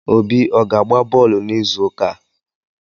Obi ọ ga-agba bọọlụ n'izuụka a?